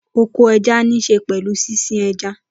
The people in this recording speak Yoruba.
Oko ẹja níṣe pẹ̀lú sísin ẹja.